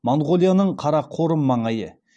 моңғолияның қарақорым маңайы